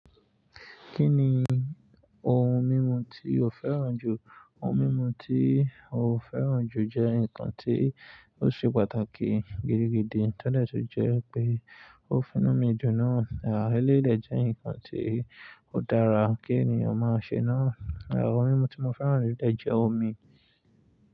Kí ni ohun mímu tí o fẹ́ràn jù? Ohun mímu tí mo fẹ́ràn jù jẹ́ nǹkan tí ó ṣe pàtàkì gidigidi tọ́dẹ̀ tí jẹ́ pé ó fún nu mi dun náà. Àá eléyi dẹ̀ jẹ́ nǹkan tí ó dára kí ènìyàn máa ṣe náà. À oun mímu tí mo fẹ́ràn jùlọ dẹ̀ jẹ́ omi.